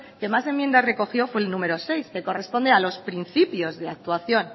que más enmiendas recogió fue el número seis que corresponde a los principios de actuación